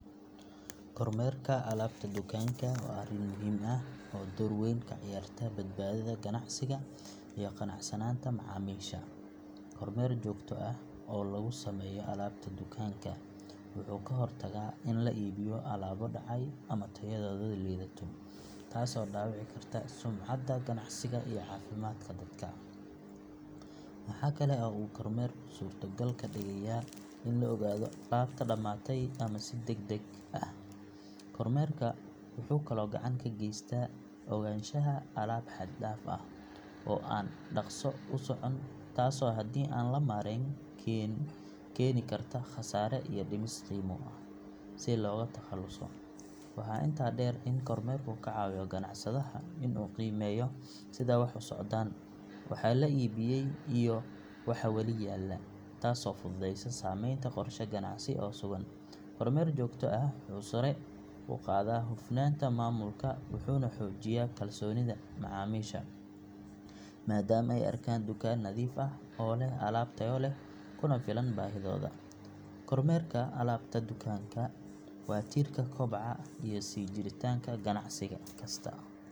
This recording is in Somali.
Kormeerka alaabta dukaanka waa arrin muhiim ah oo door weyn ka ciyaarta badbaadada ganacsiga iyo qanacsanaanta macaamiisha. Kormeer joogto ah oo lagu sameeyo alaabta dukaanka wuxuu ka hortagaa in la iibiyo alaabo dhacay ama tayadoodu liidato taasoo dhaawici karta sumcadda ganacsiga iyo caafimaadka dadka. Waxa kale oo uu kormeerku suurtogal ka dhigayaa in la ogaado alaabta dhamaatay ama si degdeg ah u dhammaaneysa si markaas loo soo dhammaystiro loona ilaaliyo helitaanka alaabta muhiimka ah. Kormeerka wuxuu kaloo gacan ka geystaa ogaanshaha alaab xad dhaaf ah oo aan dhaqso u socon taasoo haddii aan la maareyn keeni karta khasaare iyo dhimis qiimo ah si looga takhaluso. Waxaa intaa dheer in kormeerku ka caawiyo ganacsadaha in uu qiimeeyo sida wax u socdaan, waxa la iibiyay iyo waxa weli yaalla taasoo fududeysa sameynta qorshe ganacsi oo sugan. Kormeer joogto ah wuxuu sare u qaadaa hufnaanta maamulka wuxuuna xoojiyaa kalsoonida macaamiisha maadaama ay arkaan dukaan nadiif ah oo leh alaab tayo leh kuna filan baahidooda. Kormeerka alaabta dukaanka waa tiirka koboca iyo sii jiritaanka ganacsi kasta.